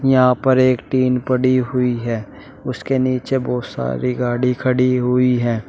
यहां पर एक टीन पड़ी हुई है। उसके नीचे बोहुत सारी गाड़ी खड़ी हुई हैं।